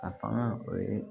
A fanga o ye